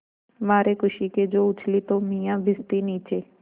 मारे खुशी के जो उछली तो मियाँ भिश्ती नीचे